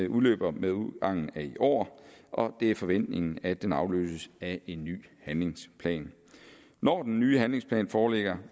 udløber med udgangen af i år og det er forventningen at den afløses af en ny handlingsplan når den nye handlingsplan foreligger